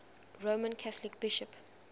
roman catholic bishop